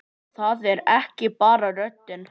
Það er ekki bara röddin.